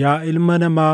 “Yaa ilma namaa,